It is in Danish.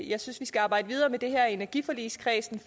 jeg synes vi skal arbejde videre med det her i energiforligskredsen